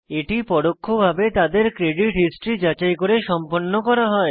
এটি পরোক্ষভাবে তাদের ক্রেডিট হিস্ট্রি যাচাই করে সম্পন্ন করা হয়